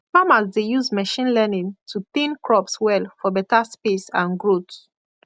farmers dey use machine learning to thin crops well for better space and growth